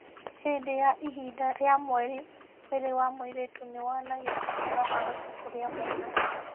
Hĩndĩ ya ihinda rĩa mweri, mwĩrĩ wa mũirĩtu nĩ wonanagia atĩ no ahote kũgĩa mwana.